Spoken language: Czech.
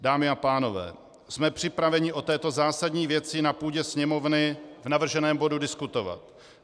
Dámy a pánové, jsme připraveni o této zásadní věci na půdě Sněmovny v navrženém bodu diskutovat.